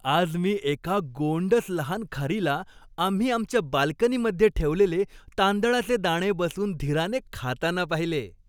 आज मी एका गोंडस लहान खारीला आम्ही आमच्या बाल्कनीमध्ये ठेवलेले तांदळाचे दाणे बसून धीराने खाताना पाहिले.